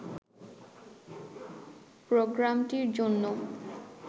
প্রোগ্রামটির জন্য